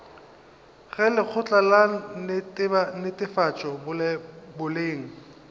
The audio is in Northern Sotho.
ge lekgotla la netefatšo boleng